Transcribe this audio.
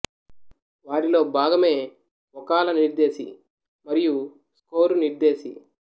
వారిలో భాగమే ఒ కాల నిర్దేశి మఱియు స్కోరు నిర్దేశి